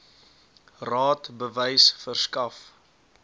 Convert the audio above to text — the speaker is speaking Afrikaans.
raad bewys verskaf